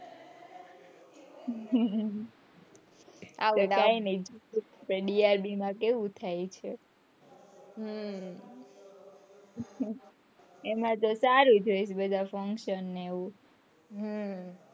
DRD માં કેવું થાય છે હમ એમાં તો ચાલ્યું જાય બધા function ને એવું હમ